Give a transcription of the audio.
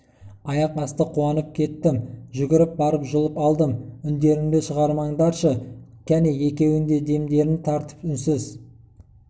аяқ асты қуанып кеттім жүгіріп барып жұлып алдым үңдеріңді шығарыңдаршы кәне екеуі де демдерін тартып үнсіз